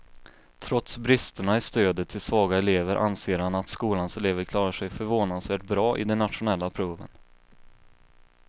Trots bristerna i stödet till svaga elever anser han att skolans elever klarar sig förvånansvärt bra i de nationella proven.